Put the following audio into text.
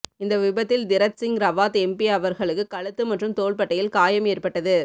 இந்த விபத்தில் திரத்சிங் ரவாத் எம்பி அவர்களுக்கு கழுத்து மற்றும் தோள்பட்டையில் காயம் ஏற்பட்டது